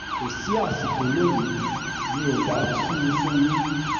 kò sí àsìkò lónìí mi ò bá tú u fún yín